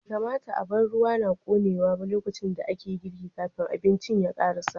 Bai kamata a bar ruwa na ƙonewa ba lokacin da ake girki, kafin abincin ya karasa.